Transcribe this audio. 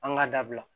An ka dabila